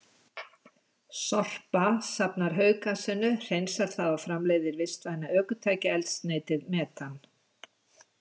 SORPA safnar hauggasinu, hreinsar það og framleiðir vistvæna ökutækjaeldsneytið metan.